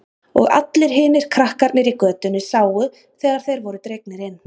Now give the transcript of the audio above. Og allir hinir krakkarnir í götunni sáu þegar þeir voru dregnir inn.